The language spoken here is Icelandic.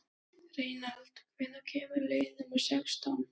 Reynald, hvenær kemur leið númer sextán?